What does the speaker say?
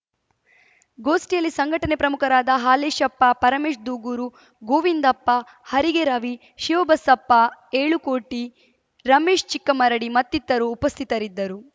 ಗೋಷ್ಠಿಯಲ್ಲಿ ಸಂಘಟನೆ ಪ್ರಮುಖರಾದ ಹಾಲೇಶಪ್ಪ ಪರಮೇಶ್‌ ದೂಗೂರು ಗೋವಿಂದಪ್ಪ ಹರಿಗೆ ರವಿ ಶಿವಬಸಪ್ಪ ಏಳುಕೋಟಿ ರಮೇಶ್‌ ಚಿಕ್ಕಮರಡಿ ಮತ್ತಿತರು ಉಪಸ್ಥಿತರಿದ್ದರು